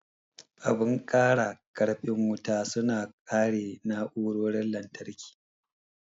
Abun kara karfin wuta su na kare na'urorin lantarki.